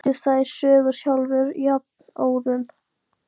Hann býr til þær sögur sjálfur jafnóðum.